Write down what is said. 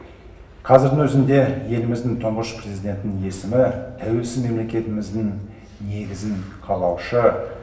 қазірдің өзінде еліміздің тұңғыш президентінің есімі тәуелсіз мемлекетіміздің негізін қалаушы